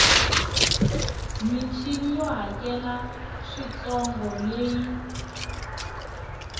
michini yo hakela swintsongo leyi